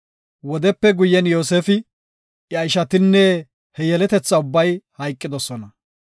Wodepe guyen Yoosefi, iya ishatinne he yeletetha ubbay hayqidosona.